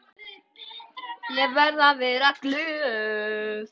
Ég verði að vera glöð.